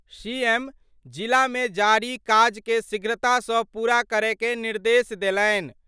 CM जिला मे जारी काज के शीघ्रता सं पूरा करय के निर्देश देलनि।